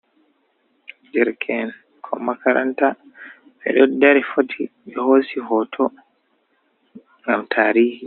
Derke en ɓikkon makaranta, ɓeɗo dari foti ɓe hosi hoto ngam tarihi.